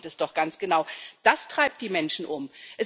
Und darum geht es doch ganz genau, das treibt die Menschen um.